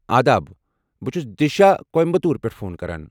آداب! بہٕ چھس دِشا کویمبٹور پٮ۪ٹھ فون کران۔